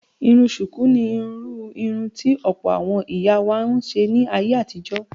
Irun ṣùkú ni irú irun tí ọ̀pọ̀ àwọn ìyá wa máa ń ṣe ní ayé àtijó.